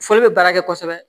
Foli bɛ baara kɛ kosɛbɛ